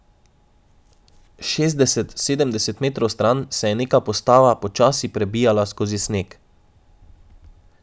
Šestdeset, sedemdeset metrov stran se je neka postava počasi prebijala skozi sneg.